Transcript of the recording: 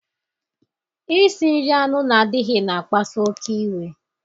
Isi nri anụ na-adịghị na akpasu oké iwe